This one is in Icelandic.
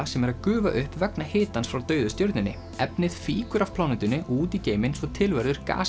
sem er að gufa upp vegna hitans frá dauðu stjörnunni efnið fýkur af plánetunni og út í geiminn svo til verður